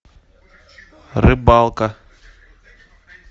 рыбалка